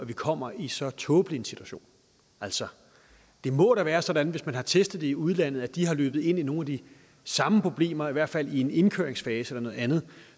vi kommer i en så tåbelig situation altså det må da være sådan at hvis man har testet det i udlandet og de er løbet ind i nogle af de samme problemer i hvert fald i en indkøringsfase eller noget andet